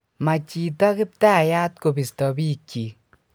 ma chito kiptayat kobisto biikchich